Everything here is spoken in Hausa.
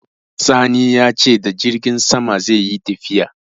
Sani ya ce da jirgin sama zai yi tafiya.